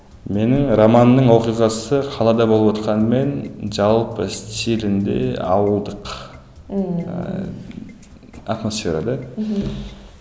мені романның оқиғасы қалада болыватқанымен жалпы стилінде ауылдық ыыы атмосфера да мхм